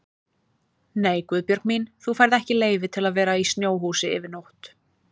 Nei Guðbjörg mín, þú færð ekki leyfi til að vera í snjóhúsi yfir nótt